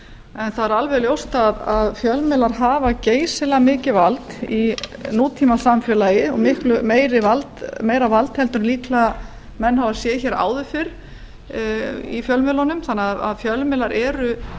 en það er alveg ljóst að fjölmiðlar hafa geysilega mikið vald í nútímasamfélagi og miklu meira vald heldur en menn hafa séð áður fyrr í fjölmiðlunum þannig að fjölmiðlar eru